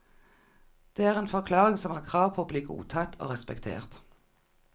Det er en forklaring som har krav på å bli godtatt og respektert.